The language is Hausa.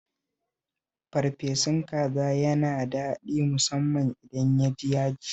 Farfesun kaza yana daɗi musamman idan ya ji yaji